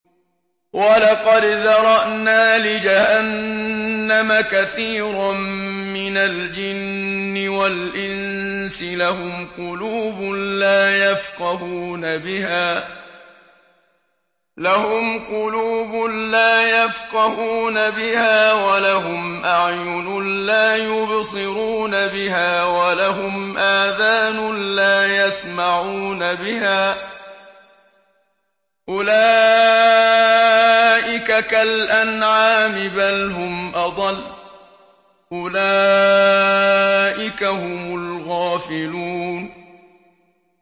وَلَقَدْ ذَرَأْنَا لِجَهَنَّمَ كَثِيرًا مِّنَ الْجِنِّ وَالْإِنسِ ۖ لَهُمْ قُلُوبٌ لَّا يَفْقَهُونَ بِهَا وَلَهُمْ أَعْيُنٌ لَّا يُبْصِرُونَ بِهَا وَلَهُمْ آذَانٌ لَّا يَسْمَعُونَ بِهَا ۚ أُولَٰئِكَ كَالْأَنْعَامِ بَلْ هُمْ أَضَلُّ ۚ أُولَٰئِكَ هُمُ الْغَافِلُونَ